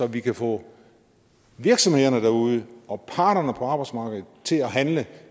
vi kan få virksomhederne derude og parterne på arbejdsmarkedet til at handle